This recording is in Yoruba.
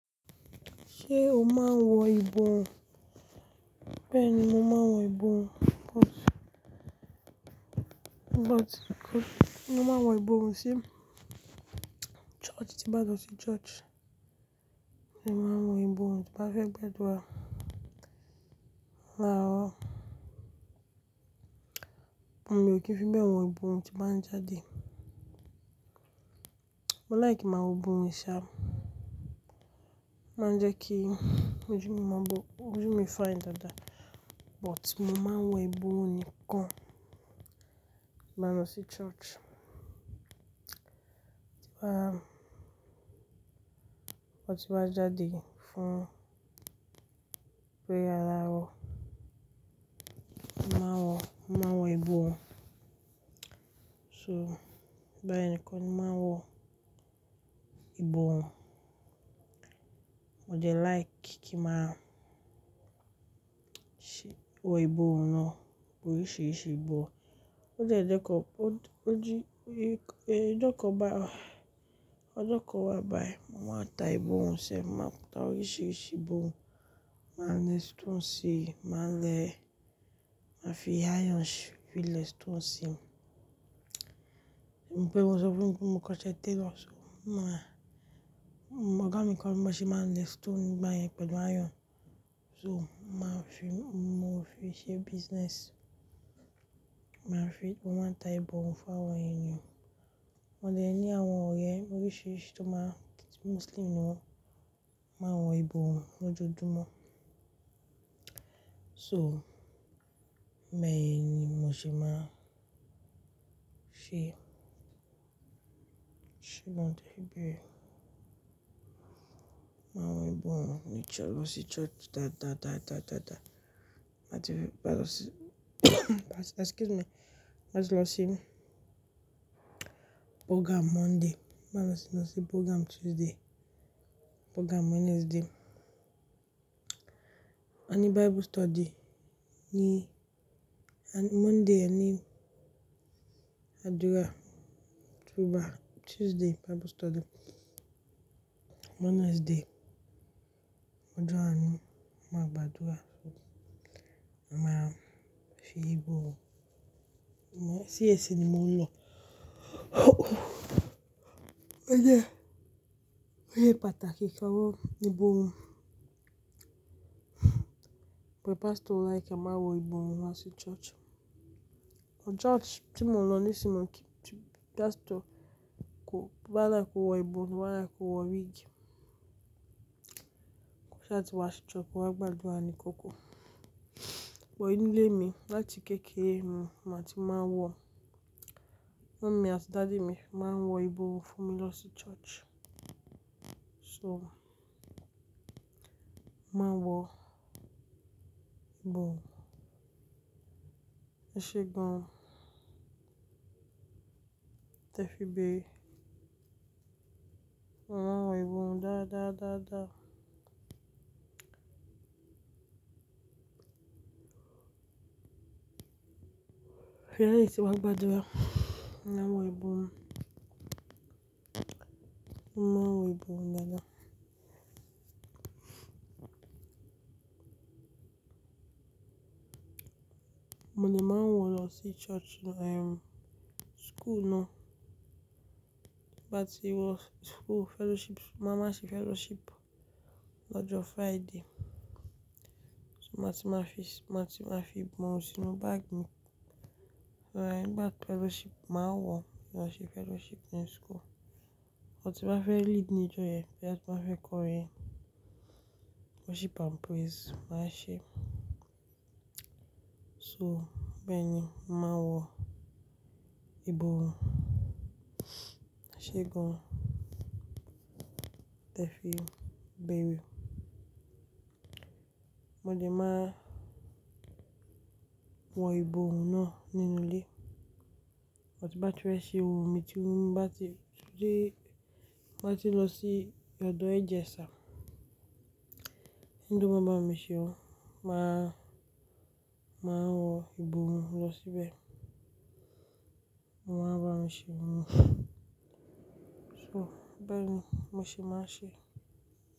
Ṣé o máa ń wọ ìbòhùn? Bẹ́ẹ̀ni, mo máa ń wọ ìbòhùn, but, but kò mo máa ń wọ ìbòhùn sí church, tí bá lọ sí church. Mo máa ń wọ ìbòhùn tí bá fẹ́ gbẹ́dúrà. Rárá, mo mi ò ki fi wọ ìbòhùn tí màá jáde. Mo like máa wọ ìbòhùn ìṣá, máa ń jẹ́ kí ojú mi bú ojú mi fine dáadáa. But mo máa ń wọ ìbòhùn nìkan lọ sí church. Bá, bó ti bá jáde fún, pé yára o, mo máa wọ, mo máa ń wọ ìbòhùn. So ìgbà yẹn ni kò ní máa wọ ìbòhùn. Mo jẹ like kí màá ṣe wọ ìbòhùn náà bó rí ṣe é ṣe, bó ó jẹ́ dẹ́kọọ, ó jí, ẹ́, ọjọ́ kan bá, ọjọ́ kan wá bá ẹ, mo máa ta ìbòhùn sẹ́, màá ta oríṣiríṣi ìbòhùn. Màá le stone sí i, màá le, màá fi iron sí, fi le stone sí. Ṣẹ mọ pe mo sọ fún mi pé mo kọṣẹ́ tailor, màá, ọ̀gá mi kan ló ń bá mi ṣe máa le stone bá yẹn pẹ̀lú iron. So màá fi, mo fi ṣe business. Màá fi, mo máa ń ta ìbòhùn fún àwọn èèyàn. Wọn jẹ́ ẹni àwọn ọ̀rẹ́ oríṣiríṣi tó máa, Muslim ni wọ́n, máa ń wọ ìbòhùn lójoojúmọ́. So bẹ́ẹ̀ ni mo ṣe máa ń ṣe, ṣugbọn tẹ́ fi bí. Máa wọ ìbòhùn lọ sí church dáadáa, dáadáa, dáadáa. Má ti bá lọ sí, excuse me, má tí lọ sí program Monday, máa lọ sí, lọ sí program Tuesday, program Wednesday. A ní Bible study ní, a ní Monday a ní àdúrà, Tuesday Bible study, Wednesday ojo anu, a máa gbàdúrà. Máa fi ìbòhùn, mo sí CAC ni mo ń lọ. Ó yẹ, ó yẹ pàtàkì kí a wọ́ ìbòhùn. But pastor like a máa wọ ìbòhùn wá sí church. Church tí mo lọ sunmọ tiju, pastor kò, bá n láti kò wọ ìbòhùn, bá n láti kò wọ wíìgì. Kò ṣẹ́ à ti wá sí church, a máa gbàdúrà ní oko. But nínú ilé mi láti kéékèèé mi, màá ti máa ń wọ. Mummy àti daddy mi máa ń wọ ìbòhùn fún mi lọ sí church. So màá wọ ìbòhùn. Ẹ ṣe gan. Tẹ́ fi bí. Mo máa ń wọ ìbòhùn dáadáa, dáadáa, dáadáa. Lẹyìn ti n ba gbàdúrà? Mo máa ń wọ ìbòhùn. Mo máa ń wọ ìbòhùn dáadáa. Mo lè máa ń wọ lọ sí church, ehm, school náà. Bá ti wọ school fellowship, màá máa ṣe fellowship lọ́jọ́ Friday. So màá ti máa fi, màá ti máa fi ìbòhùn sínú bag mi. Nígbà fellowship, màá wọ̀, máa ṣe fellowship ní school. Bá ti bá fẹ́ lead ní ìjọ yẹn, bá ti bá fẹ́ kọrin worship and praise, màá ṣe é. So bẹ́ẹ̀ ni, màá wọ ìbòhùn. Ẹ ṣe gan. Tẹ́ fi bíi. Mo le máa wọ ìbòhùn náà nínú ilé. Bá ti bá ti fẹ́ ṣe irun mi ti, bá ti, tún dẹ́, bá ti lọ sí ọ̀dọ̀ yi hairdresser ṣá. Eni to ma bámi se irun, màá, màá wọ ìbòhùn lọ síbẹ̀. Mo máa ń bá mi ṣe irun. So bẹ́ẹ̀ ni mo ṣe máa ń ṣe.